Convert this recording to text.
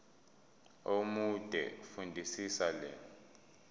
omude fundisisa le